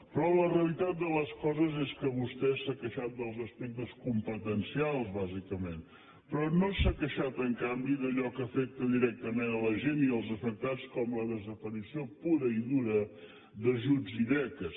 però la realitat de les coses és que vostè s’ha queixat dels aspectes competencials bàsicament però no s’ha queixat en canvi d’allò que afecta directament la gent i els afectats com la desaparició pura i dura d’ajuts i beques